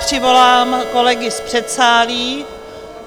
Přivolám kolegy z předsálí.